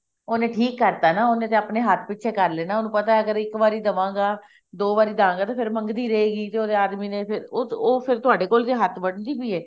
ਉਹਨੇ ਠੀਕ ਕਰਤਾ ਨਾ ਉਹਨੇ ਤਾਂ ਉਹਦੇ ਹੱਥ ਵਿੱਚ ਪਿੱਛੇ ਕਰਲੇ ਉਹਨੂੰ ਪਤਾ ਹੈ ਅਗਰ ਇੱਕ ਵਾਰੀ ਦਵਾਂਗਾ ਦੋ ਵਾਰੀ ਦਵਾਂਗਾ ਫ਼ੇਰ ਮੰਗਦੀ ਰਹੂਗੀ ਜੇ ਉਹਦੇ ਆਦਮੀ ਨੇ ਫ਼ੇਰ ਉਹ ਉਹ ਫ਼ੇਰ ਤੁਹਾਡੇ ਕੋਲ ਤਾਂ ਹੱਥ ਵੱਡਦੀ ਪਈ ਹੈ